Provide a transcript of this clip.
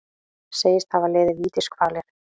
Segist hafa liðið vítiskvalir